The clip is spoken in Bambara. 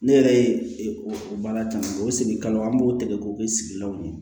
Ne yɛrɛ ye o baara caman kɛ o segin kalo an b'o tigɛ k'o kɛ sigilanw ye